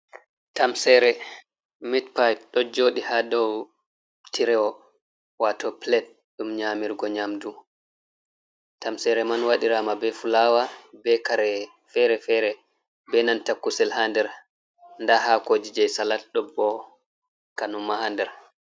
Tamseere, meat pie ɗo jooɗi ha dou tirewo wato plate ɗum nyaamirgo nyamdu. Tamseere man waɗiraama be fulawa, be kare fere-fere be nanta kusel ha nder. Nda haakoji jei salat ɗon bo kanyum ma ha nder.